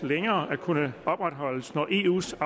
længere at kunne opretholdes når eus